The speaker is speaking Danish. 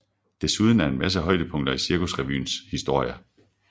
Desuden en masse højdepunkter i Cirkusrevyens historie